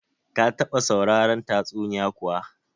Ka taba sauraron tatsuniya kuwa?